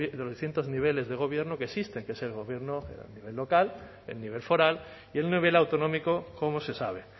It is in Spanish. niveles de gobierno que existen que es el local el nivel foral y el nivel autonómico como se sabe